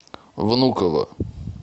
внуково